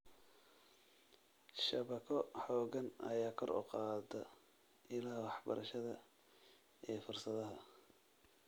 Shabakado xooggan ayaa kor u qaada ilaha waxbarashada iyo fursadaha.